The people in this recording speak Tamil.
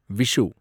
விஷு